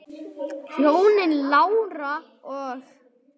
Hjónin Lára og